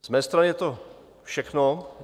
Z mé strany je to všechno.